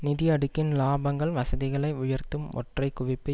நிதி அடுக்கின் இலாபங்கள் வசதிகளை உயர்த்தும் ஒற்றை குவிப்பு